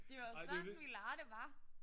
Det var jo sådan vi legede det var